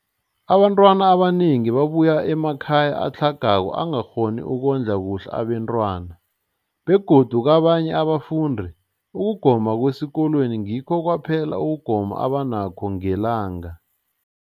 Abantwana abanengi babuya emakhaya atlhagako angakghoni ukondla kuhle abentwana, begodu kabanye abafundi, ukugoma kwesikolweni ngikho kwaphela ukugoma abanakho ngelanga.